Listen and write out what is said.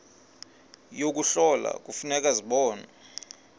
yokuhlola kufuneka zibonwe